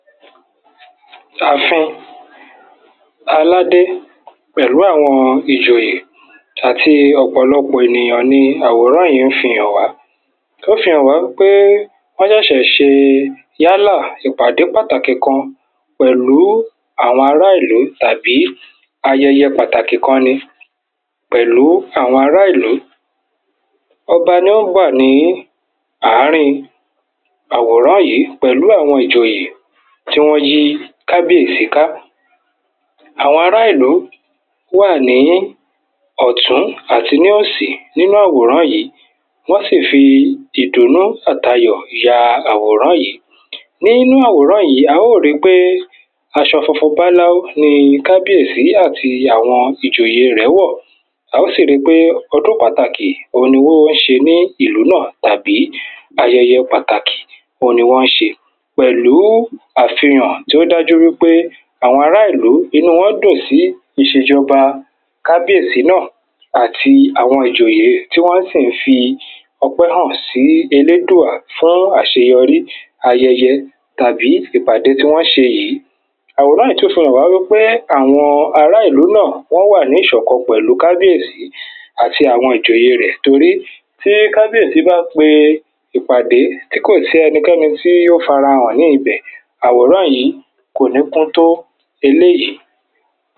àfin aládé pẹ̀lú àwọn ìjòyè àti ọ̀pọ̀lọpọ̀ ènìyàn ni àwòrán yí ń fihàn wá ó fihàn wá pé wọ́n ṣẹ̀ṣẹ̀ ṣe yálà ìpàdé pàtàkì kan pẹ̀lú àwọn ará ìlú tàbí ayẹyẹ pàtàkì kan ni pẹ̀lú àwọn ará ìlú ọba ni ó wà ní àárín àwòrán yí pẹ̀lú ìjòyè tí wọ́n yí kábíyèsí ká àwọn ará ìlú wà ní ọ̀tún àti ní òsì nínú àwòrán yí wọ́n sì fi ìdùnnú àti ayọ̀ ya àwòrán yí nínú àwòrán yí a ó ri pé aṣọ funfun báláú ni kábíyèsí àti àwọn ìjòyè rẹ̀ẹ́ wọ̀ a ó sì ri pé ọdún pàtàkì òhun ni wọ́n ń ṣe ní ìlú náà tàbí ayẹyẹ pàtàkì òhun ni wọ́n ṣe pẹ̀lú àfihàn tó dájú wípé àwọn ará ìlú, inú wọn dùn sí ìṣèjọba kábíyèsí náà àti àwọn ìjòyè tí wọ́n sì ń fi ọpẹ́ hàn sí elédùà fún àṣeyọrí ayẹyẹ àbí ìpàdé tí wọ́n ṣe yìí àwòrán yí tún fihàn wá wípé àwọn ará ìlú náà wọ́n wà ní ìṣọ̀kan pẹ̀lú kábíyèsí àti àwọn ìjòyè rẹ̀ torí tí kábíyèsí bá pe ìpàdé tí kò sí ẹnikẹ́ni tí ó fara hàn ní ibẹ̀ àwòrán yí kò ní kún tó eléyìí